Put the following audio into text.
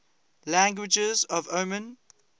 languages of oman